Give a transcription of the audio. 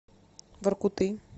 воркуты